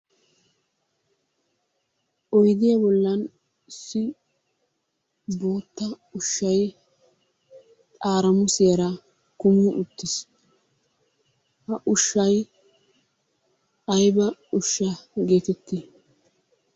Oyidiya bollan issi bootta ushshay xaaramusiyara kumi uttis. Ha ushshay ayba ushsha geetetti?